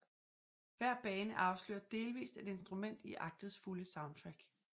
Hver bane afslører delvist et instrument i aktets fulde soundtrack